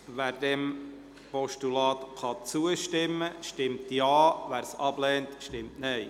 Wer dem Postulat zustimmt, stimmt Ja, wer dieses ablehnt, stimmt Nein.